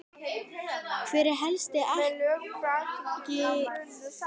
Hver er helsti akkilesarhæll liðsins?